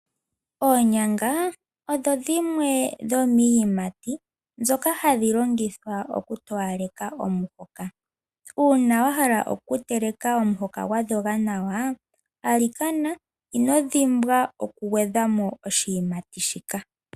Oonyanga odho dhimwe dhomiiyimati ndhoka hadhi longithwa oku towaleka omuhoka. Uuna wa hala oku teleka omuhoka gwa dhoga nawa alikana ino dhimbwa oku gwedha mo oshiyimati shika.